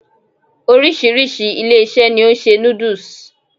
Oríṣiríṣi ilé-ìṣẹ́ ni o n se noodles